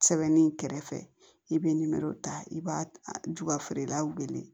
Sɛbɛnni kɛrɛfɛ i bɛ nimɛri ta i b'a jufeerelaw wele